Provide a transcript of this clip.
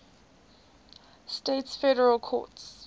states federal courts